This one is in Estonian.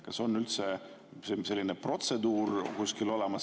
Kas on üldse selline protseduur kuskil?